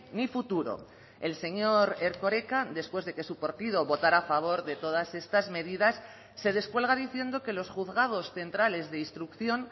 ni futuro el señor erkoreka después de que su partido votara a favor de todas estas medidas se descuelga diciendo que los juzgados centrales de instrucción